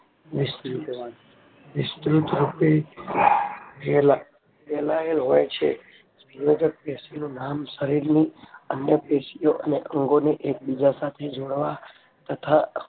વિસ્તૃત રૂપે ફેલાયેલ હોય છે સંયોજક પેશીઓ શરીરની અન્યપેશીઓ ને અંગોને એકબીજા સાથે જોડવા તથા